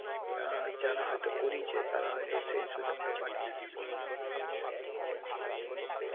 আর যারা হয়তো করিয়েছে তারা হয়তো সেই সুযোগটা পাচ্ছে আর কি.